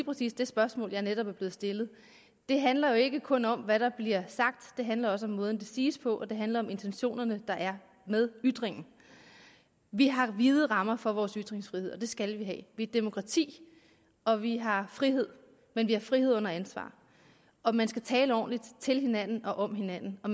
præcis det spørgsmål jeg netop er blevet stillet det handler jo ikke kun om hvad der bliver sagt det handler også om måden det siges på og det handler om de intentioner der er med ytringen vi har vide rammer for vores ytringsfrihed og det skal vi have vi demokrati og vi har frihed men vi har frihed under ansvar og man skal tale ordentligt til hinanden og om hinanden og